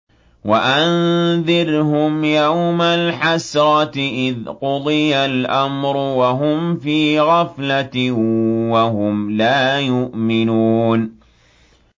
وَأَنذِرْهُمْ يَوْمَ الْحَسْرَةِ إِذْ قُضِيَ الْأَمْرُ وَهُمْ فِي غَفْلَةٍ وَهُمْ لَا يُؤْمِنُونَ